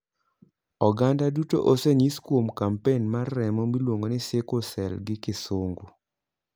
Oganda duto osenyis kuom kampen mar remo miluongo ni sickle cell gi gisungu.